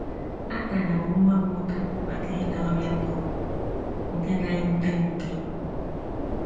Atara m nwa m ụta maka ịda ọrịa bụ́ nke na - ewute m nke ukwuu. ”